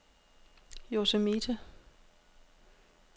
Yosemite